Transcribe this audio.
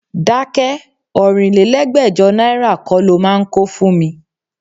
Dákẹ́! Ọ̀rínlélẹ́gbẹ́jọ náírà kọ́ lo máa ń kó fún mi.